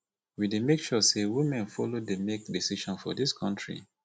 we dey make sure sey women folo dey make decision for dis country